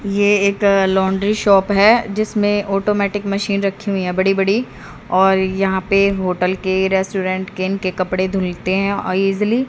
ये एक laundry shop है जिसमें ऑटोमैटिक मशीन रखी हुई है बड़ी बड़ी और यहां पे होटल के रेस्टोरेंट के इनके कपड़े धुलते है अ ईजली --